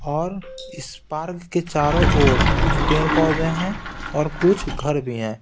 और इस पार्क के चारों ओर कुछ पेड़-पौधे हैंऔर कुछ घर भी हैं।